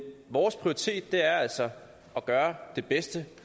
vores prioritet er altså at gøre det bedste